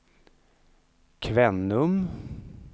Kvänum